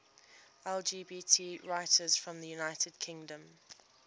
lgbt writers from the united kingdom